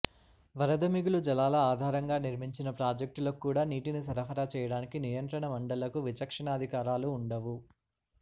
వరద మిగులు జలాల ఆధారంగా నిర్మించిన ప్రాజెక్టులకు కూడా నీటిని సరఫరా చేయడానికి నియంత్రణ మండళ్లకు విచక్షణాధికా రాలు ఉండవు